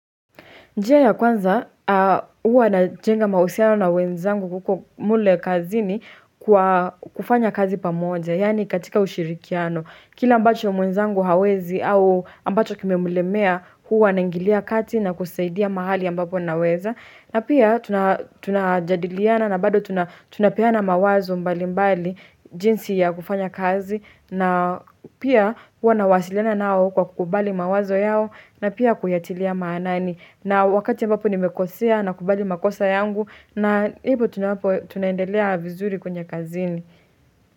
Njia ya kwanza, huwa na jenga mausiano na wenzangu kuko mule kazini kwa kufanya kazi pamoja, yani katika ushirikiano. Kila ambacho mwenzangu hawezi au ambacho kimemlemea huwa na ingilia kati na kusaidia mahali ambapo naweza. Na pia tuna tunajadiliana na bado tuna tunapeana mawazo mbali mbali jinsi ya kufanya kazi. Na pia huwa na wasiliana nao kwa kukubali mawazo yao na pia kuyatilia maanani. Na wakati ambapo nimekosea na kubali makosa yangu na hibu tunapo tunaendelea vizuri kwenye kazini.